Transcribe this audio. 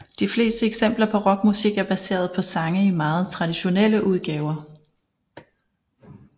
De fleste eksempler på rockmusik er baseret på sange i meget traditionelle udgaver